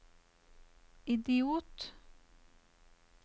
idiot